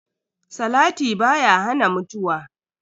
Salati baya hana mutuwa.